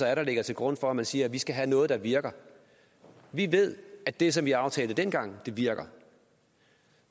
er der ligger til grund for at man siger vi skal have noget der virker vi ved at det som vi aftalte dengang virker